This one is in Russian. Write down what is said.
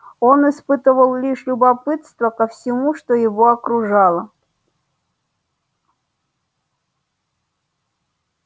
он испытывал лишь любопытство ко всему что его окружало